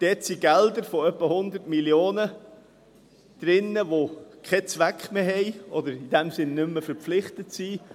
Er enthält Gelder von ungefähr 100 Mio. Franken, die keinen Zweck mehr haben oder in dem Sinn nicht mehr verpflichtet sind.